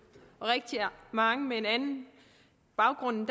rigtig mange med en anden baggrund